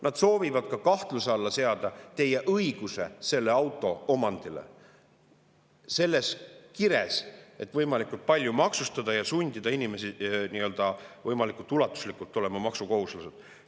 Nad soovivad ka kahtluse alla seada teie õiguse selle auto omandile selles kires, et võimalikult palju maksustada ja sundida inimesi võimalikult ulatuslikult olema maksukohuslased.